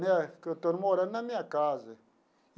Né que eu estou morando na minha casa.